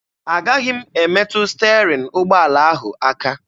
Agaghị m emetụ sterin ụgbọala ahụ aka.